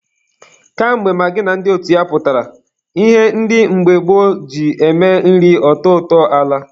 Ka mgbe magị na ndị otu ya pụtara, ihe ndị mgbe gboo ji eme nri ọ tọọ ụtọ alaa.